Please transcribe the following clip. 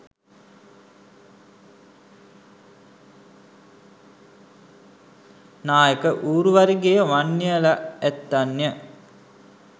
නායක ඌරුවරිගේ වන්නියලැ ඇත්තන්ය.